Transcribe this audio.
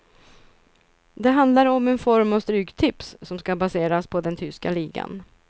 Det handlar om en form av stryktips, som ska baseras på den tyska ligan.